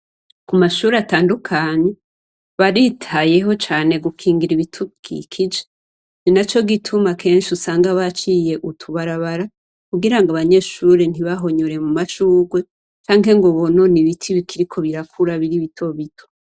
Kumashure atandukanye baritayeho cane gukingira ibidukikije ninaco gituma kenshi usanga baciye utubarabara kugirango abanyeshure ntibahonyore mumashurwe canke bahonyange ibiti bikiriko birakura canke bitobito.